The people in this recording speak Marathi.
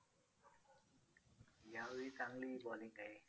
यावेळी चांगली bowling आहे.